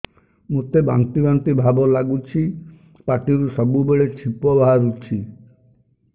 ମୋତେ ବାନ୍ତି ବାନ୍ତି ଭାବ ଲାଗୁଚି ପାଟିରୁ ସବୁ ବେଳେ ଛିପ ବାହାରୁଛି